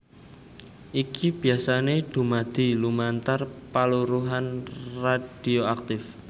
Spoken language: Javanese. Iki biyasané dumadi lumantar paluruhan radhioaktif